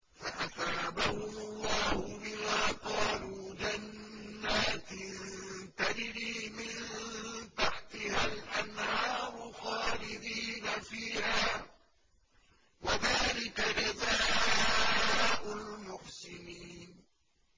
فَأَثَابَهُمُ اللَّهُ بِمَا قَالُوا جَنَّاتٍ تَجْرِي مِن تَحْتِهَا الْأَنْهَارُ خَالِدِينَ فِيهَا ۚ وَذَٰلِكَ جَزَاءُ الْمُحْسِنِينَ